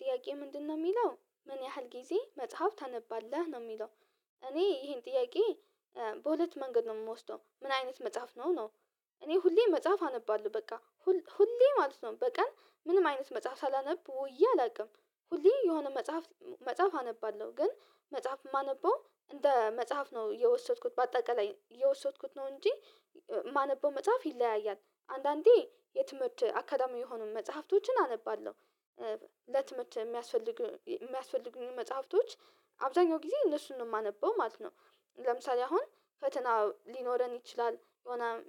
ጥያቄ ምንድነው የሚለው ምን ያህል ጊዜ መጽሐፍ ታነባለህ ነው የሚለው? እኔ ይሄን ጥያቄ በሁለት መንገድ ነው የምወስደው ምን አይነት መጽሐፍ ነው ነው። እኔ ሁሌም መጽሐፍ አነባለሁ በቃ ሁሌ ማለት ነው በቀን ምንም አይነት መጽሐፍ ሳላነብ ወዬ አላውቅም። ሁሌ የሆነ መጽሐፍ መጽሐፍ አነባለሁ ግን መጽሐፍ የማነበው እንደ መጽሐፍ ነው የወሰድኩት በአጠቃላይ የወሰድኩት ነው እንጂ የማነበው መጽሐፍ ይለያያል አንዳንዴ የትምህርት አካዳሚ የሆኑ መጽሐፍቶችን አነባለሁ። ለትምህርት የሚያስፈልጉ የሚያስፈልጉን መጽሐፍቶች አብዛኛው ጊዜ እነሱን ነው የማነበው ማለት ነው። ለምሳሌ አሁን ፈተና ሊኖረን ይችላል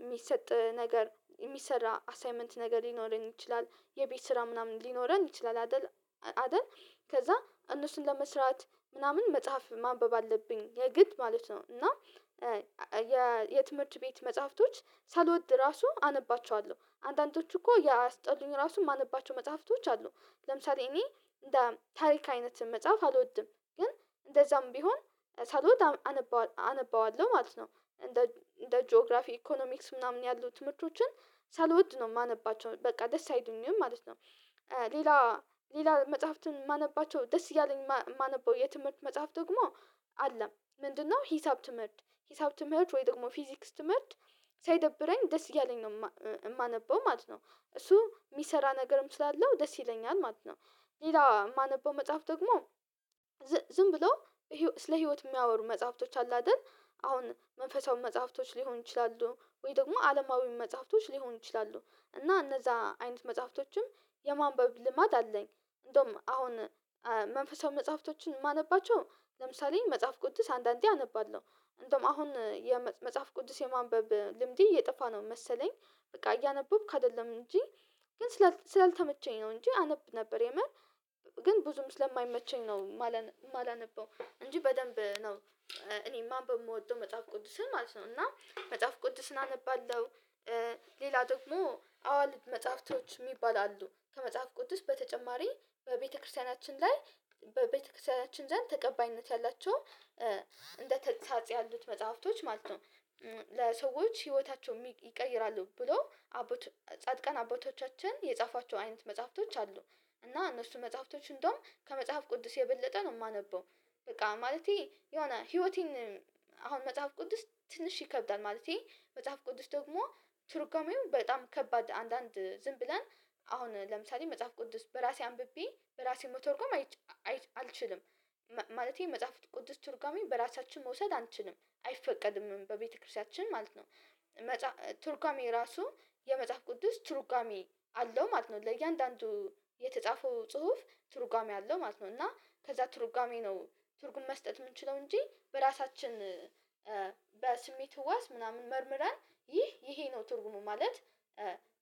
የሚሰጥ ነገር የሚሰራ አሳይመንት ነገር ሊኖረን ይችላል የቤት ስራ ምናምን ሊኖረን ይችላል አይደል? አይደል ከዛ እነሱን ለመስራት ምናምን መጽሐፍ ማንበብ አለብኝ የግድ ማለት ነው። እና የትምህርት ቤት መጽሐፍቶች ሳልወድ ራሱ አነባቸዋለሁ አንዳንዶቹ እኮ ያ አስጠሉኝ ራሱ የማነባቸው መጽሐፍቶች አሉ። ለምሳሌ እኔ ታሪክ አይነት መጽሐፍ አልወድም። ግን እንደዛም ቢሆን ሳልወድ አነበዋለው አነባዋለሁ ማለት ነው። እንደ ጂኦግራፊ ኢኮኖሚክስ ምናምን ያሉት ምቾችን ሳልወድ ነው የማነባቸው በቃ ደስ አይደለም ማለት ነው። ሌላ ሌላ መጽሐፍትን የማነባቸው ደስ እያለኝ የማነበው የትምህርት መጽሐፍ ደግሞ አለ ምንድነው ሂሳብ ትምህርት ሂሳብ ትምህርት ወይ ደግሞ ፊዚክስ ትምህርት ሳይደብረኝ ደስ እያለኝ ነው የማነበው ማለት ነው። እሱ የሚሰራ ነገርም ስላለው ደስ ይለኛል ማለት ነው። ሌላ የማነበው መጽሐፍ ደግሞ ዝም ብሎ ስለ ህይወት የሚያወሩ መጽሐፍቶች አሉ አይደል አሁን መንፈሳዊ መጽሐፍቶች ሊሆኑ ይችላሉ ወይ ደግሞ አለማዊ መጽሐፍቶች ሊሆኑ ይችላሉ። እና እነዛ አይነት መጽሐፍቶችም የማንበብ ልማድ አለኝ። እንደውም አሁን መንፈሳዊ መጽሐፍቶችን ማነባቸው ለምሳሌ መጽሐፍ ቅዱስ አንዳንዴ አነባለሁ። እንደውም አሁን የመጽሐፍ ቅዱስ የማንበብ ልምዴ እየጠፋ ነው መሰለኝ። በቃ እያነበብክ አይደለም እንጂ ግን ስላልተመቸኝ ነው እንጂ አነብ ነበር የመር። ግን ብዙም ስለማይመቸኝ ነው የማላነበው እንጂ በደንብ ነው እኔ ማንበብ በምወደው መጽሐፍ ቅዱስን ማለት ነው እና መጽሐፍ ቅዱስን አነባለሁ። ሌላ ደግሞ አዋልድ መጽሐፍቶች የሚባሉ አሉ ከመጽሐፍ ቅዱስ በተጨማሪ በቤተክርስቲያናችን ላይ በቤተክርስቲያናችን ዘንድ ተቀባይነት ያላቸው እንደተሳጽ ያሉት መጽሐፍቶች ማለት ነው። ለሰዎች ህይወታቸው ይቀይራሉ ብሎ ጻድቃን አቦቶቻችን የጻፏቸው አይነት መጽሐፍቶች አሉ። እና እነሱ መጽሐፍቶች እንደውም ከመጽሐፍ ቅዱስ የበለጠ ነው የማነበው። በቃ ማለቴ የሆነ ህይወቴን አሁን መጽሐፍ ቅዱስ ትንሽ ይከብዳል ማለቴ መጽሐፍ ቅዱስ ደግሞ ቱርጋሜው በጣም ከባድ አንዳንድ ዝም ብለን አሁን ለምሳሌ መጽሐፍ ቅንድስ በራሴ አንብቤ በራሴ መተወርኩም አልችልም። ማለቴ መጽሐፍ ቅዱስ ቱርጋሜ በራሳችን መውሰድ አንችልም አይፈቀድም በቤተክርስቲያችን ማለት ነው። ቱርጋሜ ራሱ የመጽሐፍ ቅዱስ ቱርጋሜ አለው ማለት ነው ለእያንዳንዱ የተጻፈው ጽሁፍ ትርጓሜ አለው ማለት ነው እና ከዛ ትርጓሜ ነው። ትርጉም መስጠት የምንችለው እንጂ በራሳችን በስሜት ህዋስ ምናምን መርምረን ይህ ይሄ ነው ትርጉሙ ማለት።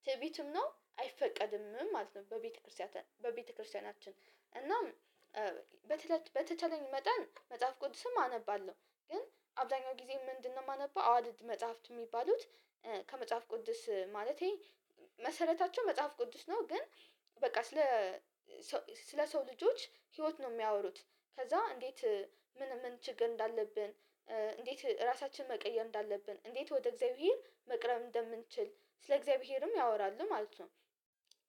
ትዕቢትም ነው አይፈቀድም ማለት ነው በቤተክርስቲያን በቤተክርስቲያናችን እና በተቻለኝ መጠን መጽሐፍ ቅዱስም አነባለሁ። ግን አብዳኛው ጊዜ ምንድነው የማነበው አዋልድ መጽሐፍት የሚባሉት። ከመጽሐፍ ቅዱስ ማለቴ መሰረታቸው መጽሐፍ ቅዱስ ነው። ግን በቃ ስለ ሰው ልጆች ህይወት ነው የሚያወሩት። ከዛ እንዴት ምን ምን ችግር እንዳለብን እንዴት ራሳችንን መቀየም እንዳለብን እንዴት ወደ እግዚአብሔር መቅረብ እንደምንችል ስለ እግዚአብሔርም ያወራሉ ማለት ነው።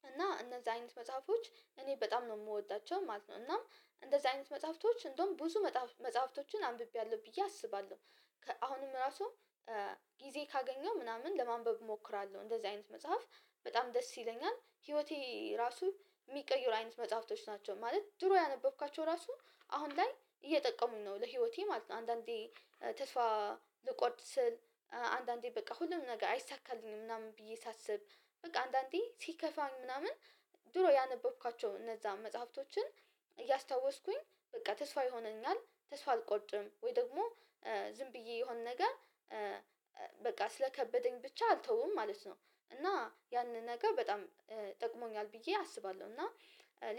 እና እነዚህ አይነት መጽሐፎች እኔ በጣም ነው የምወዳቸው ማለት ነው። እናም እንደዚህ አይነት መጽሐፍቶች እንደውም ብዙ መጽሐፍቶችን አንብቤያለሁ ብዬ አስባለሁ። አሁንም ራሱ ጊዜ ካገኘው ምናምን ለማንበብ እሞክራለሁ እንደዚህ አይነት መጽሐፍ። በጣም ደስ ይለኛል ህይወቴ ራሱ የሚቀይሩ አይነት መጽሐፍቶች ናቸው ማለት ድሮ ያነበብካቸው ራሱ አሁን ላይ እየጠቀሙኝ ነው ለህይወቴ ማለት ነው። አንዳንዴ ተስፋ ልቆጥ ስል አንዳንዴ በቃ ሁሉም ነገር አይሳካልኝም ምናምን ብዬ ሳስብ። በቃ አንዳንዴ ሲከፋኝ ምናምን። ድሮ ያነበብካቸው እነዛ መጽሐፍቶችን እያስታወስኩኝ በቃ ተስፋ ይሆነኛል። ተስፋ አልቆጭም ወይ ደግሞ ዝም ብዬ የሆነ ነገር በቃ ስለከበደኝ ብቻ አልተውም ማለት ነው። እና ያንን ነገር በጣም ጠቅሞኛል ብዬ አስባለሁ። እና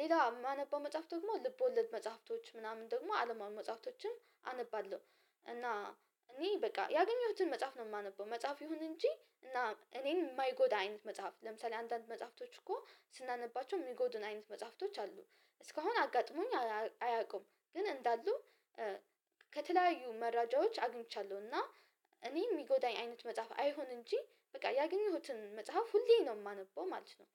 ሌላ የማነበው መጽሐፍት ደግሞ ልብ ወለድ መጽሐፍቶች ምናምን ደግሞ አለማዊ መጽሐፍቶችም አነባለሁ። እና እኔ በቃ ያገኘሁትን መጽሐፍ ነው የማነበው መጽሐፍ ይሁን እንጂ እና እኔን የማይጎዳ አይነት መጽሐፍት ለምሳሌ አንዳንድ መጽሐፍቶች እኮ ስናነባቸው የሚጎዱን አይነት መጽሐፍቶች አሉ። እስካሁን አጋጥሞኝ አያውቁም ግን እንዳሉ። ከተለያዩ መረጃዎች አግኝቻለሁ እና እኔ የሚጎዳኝ አይነት መጽሐፍ አይሆን እንጂ በቃ ያገኘሁትን መጽሐፍ ሁሌ ነው የማነበው ማለት ነው።